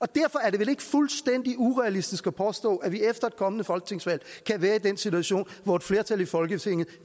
derfor er det vel ikke fuldstændig urealistisk at påstå at vi efter et kommende folketingsvalg kan være i den situation hvor et flertal i folketinget